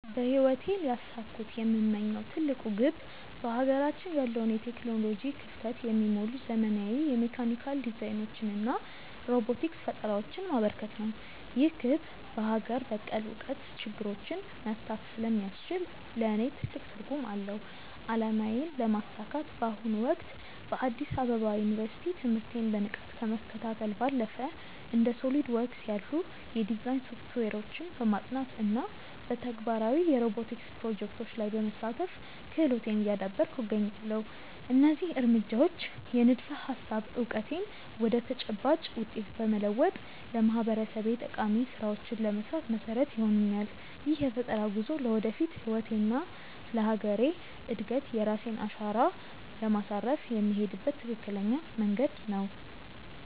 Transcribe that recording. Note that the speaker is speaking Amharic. በህይወቴ ሊያሳኩት የምመኘው ትልቁ ግብ በሀገራችን ያለውን የቴክኖሎጂ ክፍተት የሚሞሉ ዘመናዊ የሜካኒካል ዲዛይኖችንና ሮቦቲክስ ፈጠራዎችን ማበርከት ነው። ይህ ግብ በሀገር በቀል እውቀት ችግሮችን መፍታት ስለሚያስችል ለእኔ ትልቅ ትርጉም አለው። አላማዬን ለማሳካት በአሁኑ ወቅት በአዲስ አበባ ዩኒቨርሲቲ ትምህርቴን በንቃት ከመከታተል ባለፈ፣ እንደ SOLIDWORKS ያሉ የዲዛይን ሶፍትዌሮችን በማጥናት እና በተግባራዊ የሮቦቲክስ ፕሮጀክቶች ላይ በመሳተፍ ክህሎቴን እያዳበርኩ እገኛለሁ። እነዚህ እርምጃዎች የንድፈ-ሀሳብ እውቀቴን ወደ ተጨባጭ ውጤት በመለወጥ ለማህበረሰቤ ጠቃሚ ስራዎችን ለመስራት መሰረት ይሆኑኛል። ይህ የፈጠራ ጉዞ ለወደፊት ህይወቴና ለሀገሬ እድገት የራሴን አሻራ ለማሳረፍ የምሄድበት ትክክለኛ መንገድ ነው።